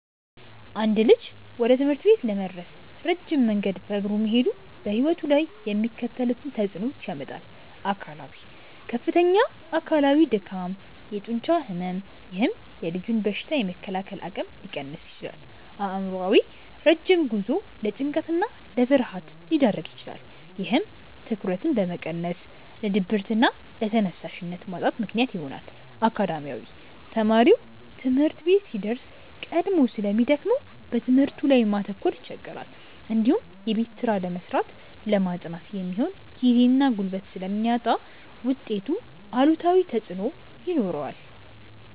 አንድ ልጅ ወደ ትምህርት ቤት ለመድረስ ረጅም መንገድ በእግሩ መሄዱ በሕይወቱ ላይ የሚከተሉትን ተጽዕኖዎች ያመጣል፦ አካላዊ፦ ከፍተኛ አካላዊ ድካም፣ የጡንቻ ሕመም፥፥ ይህም የልጁን በሽታ የመከላከል አቅም ሊቀንስ ይችላል። አእምሯዊ፦ ረጅም ጉዞው ለጭንቀትና ለፍርሃት ሊዳርግ ይችላል። ይህም ትኩረትን በመቀነስ ለድብርትና ለተነሳሽነት ማጣት ምክንያት ይሆናል። አካዳሚያዊ፦ ተማሪው ትምህርት ቤት ሲደርስ ቀድሞ ስለሚደክመው በትምህርቱ ላይ ማተኮር ይቸገራል። እንዲሁም የቤት ስራ ለመስራትና ለማጥናት የሚሆን ጊዜና ጉልበት ስለሚያጣ ውጤቱ ላይ አሉታዊ ተጽዕኖ ይኖረዋል።